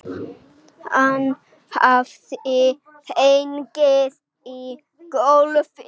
Hann hafði hnigið í gólfið.